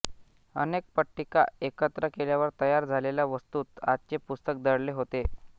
अनेक पट्टिका एकत्र केल्यावर तयार झालेल्या वस्तूत आजचे पुस्तक दडले होते